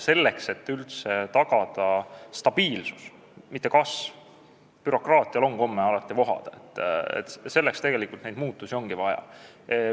Selleks, et üldse tagada stabiilsus, mitte kasv – bürokraatial on komme alati vohada –, ongi neid muudatusi vaja.